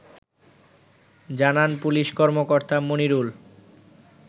জানান পুলিশ কর্মকর্তা মনিরুল